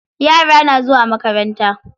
Yara na zuwa makaranta.